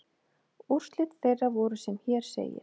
Úrslit þeirra voru sem hér segir